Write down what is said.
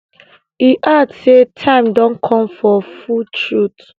e add say time don come for full truth